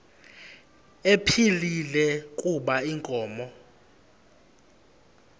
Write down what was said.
ephilile kuba inkomo